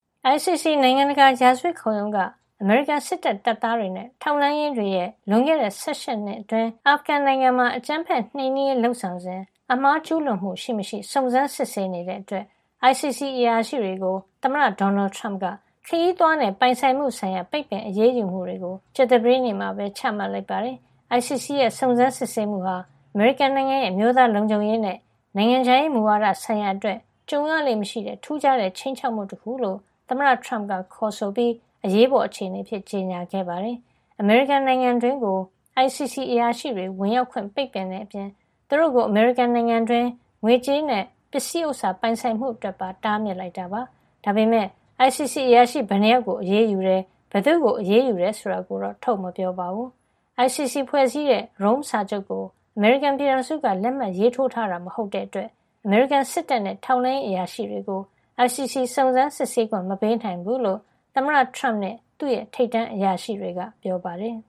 ICC နိုင်ငံတကာရာဇဝတ်ခုံရုံးက အမေရိကန်စစ်တပ် တပ်သားတွေနဲ့ ထောက်လှမ်းရေးတွေရဲ့ လွန်ခဲ့တဲ့ ၁၈ နှစ်အတွင်း အာဖဂန်နစ္စတန်နိုင်ငံမှာ အကြမ်းဖက်နှိမ်နင်းရေးလုပ်ဆောင်စဉ် အမှားကျူးလွန်မှု ရှိမရှိ စုံစမ်းစစ်ဆေးနေတဲ့အတွက် ICC အရာရှိတွေကို သမ္မတဒေါ်နယ်ထရမ့်က ခရီးသွားနဲ့ ပိုင်ဆိုင်မှုဆိုင်ရာ ပိတ်ပင်အရေးယူမှုတွေ ကြာသပတေးနေ့မှာ ချမှတ်လိုက်ပါတယ်။ ICC ရဲ့ စုံစမ်းစစ်ဆေးမှုဟာ အမေရိကန်နိုင်ငံရဲ့ အမျိုးသာလုံခြုံရေးနဲ့ နိုင်ငံခြားရေး မူဝါဒဆိုင်ရာ အတွက် ကြုံရလေ့မရှိတဲ့ ထူးခြားတဲ့ ခြိမ်းခြောက်မှု တခု လို့ သမ္မတထရမ့်က ခေါ်ဆိုပြီး အရေးပေါ်အခြေနေအဖြစ် ကြေညာခဲ့ပါတယ်။ အမေရိကန်နိုင်ငံတွင်းကို ICC အရာရှိတွေ ဝင်ရောက်ခွင့် ပိတ်ပင်တဲ့အပြင် သူတို့ကို အမေရိကန်နိုင်ငံတွင်း ငွေကြေးနဲ့ပစ္စည်းဥစ္စာ ပိုင်ဆိုင်မှုအတွက်ပါ တားမြစ်လိုက်တာပါ။ ဒါပေမယ့် ICC အရာရှိ ဘယ်နှစ်ယောက်ကို အရေးယူတယ်၊ ဘယ်သူ့ကို အရေးယူတယ် ဆိုတာကိုတော့ ထုတ်မပြောပါဘူး။ ICC ဖွဲ့စည်းတဲ့ Rome စာချုပ်ကို အမေရိကန်ပြည်ထောင်စုက လက်မှတ်ရေးထိုးထားတာ မဟုတ်တဲ့အတွက် အမေရိကန်စစ်တပ်နဲ့ ထောက်လှမ်းရေး အရာရှိတွေကို ICC စုံစမ်းစစ်ဆေးခွင့် မပေးနိုင်ဘူးလို့ သမ္မတထရမ့်နဲ့ သူ့ရဲ့ထိပ်တန်းအရာရှိတွေက ပြောပါတယ်။